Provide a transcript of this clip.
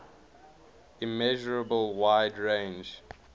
immeasurable wide range